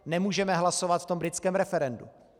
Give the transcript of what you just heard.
Nemůžeme hlasovat v tom britském referendu.